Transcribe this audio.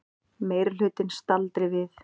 Meirihlutinn staldri við